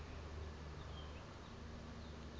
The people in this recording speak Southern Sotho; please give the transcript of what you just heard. ha eba o na le